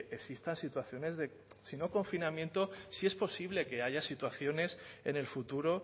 existan situaciones de si no confinamiento sí es posible que haya situaciones en el futuro